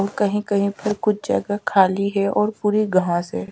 और कहीं-कहीं पर कुछ जगह खाली है और पूरी घांस है।